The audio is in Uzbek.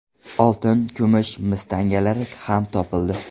Oltin, kumush, mis tangalari ham topildi.